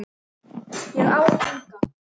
Ég á enga.